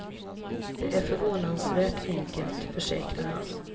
Det är förvånansvärt enkelt, försäkrar han.